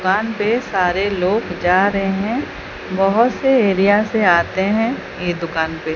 दुकान पे सारे लोग जा रहे हैं बहुत से एरिया से आते हैं ये दुकान पे।